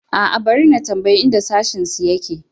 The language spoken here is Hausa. A'a, bari na tambayi inda sashensu yake.